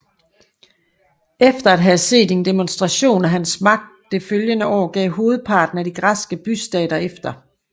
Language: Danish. Efter at have set en demonstration af hans magt det følgende år gav hovedparten af de græske bystater efter